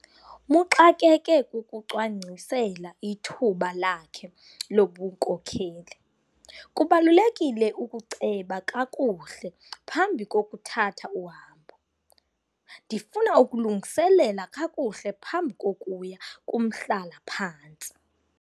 Muxakeke kukucwangcisela ithuba lakhe lobunkokeli. kubalulekile ukuceba kakuhle phambi kokuthatha uhambo, ndifuna ukulungiselela kakuhle phambi kokuya kumhlala phantsi